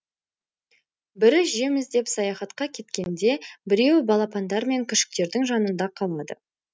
бірі жем іздеп саяхатқа кеткенде біреуі балапандар мен күшіктердің жанында қалады